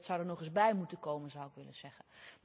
Dat zou er nog eens bij moeten komen, zou ik willen zeggen.